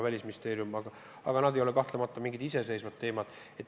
Aga need ei ole kahtlemata mingid iseseisvad teemad.